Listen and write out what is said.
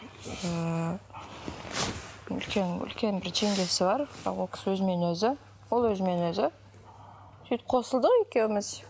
ыыы үлкен үлкен бір жеңгесі бар бірақ ол кісі өзімен өзі ол өзімен өзі сөйтіп қосылдық екеуіміз